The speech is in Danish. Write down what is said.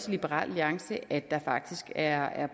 liberal alliance også at der faktisk er